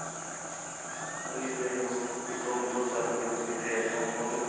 ਇਹੀ ਦੇਖਲੋ ਕਿੱਥੋਂ ਕਿੱਥੋਂ ਚੱਲ ਕੇ ਕਿੱਥੇ ਆਪਾਂ ਪਹੁੰਚ ਗਏ